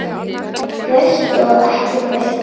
Föstu og ekki föstu.